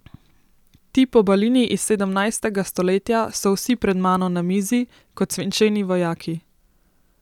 Ti pobalini iz sedemnajstega stoletja so vsi pred mano na mizi, kot svinčeni vojaki.